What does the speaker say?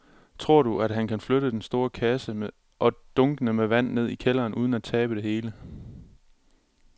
Tror du, at han kan flytte den store kasse og dunkene med vand ned i kælderen uden at tabe det hele?